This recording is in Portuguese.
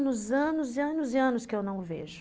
anos, anos e anos que eu não o vejo.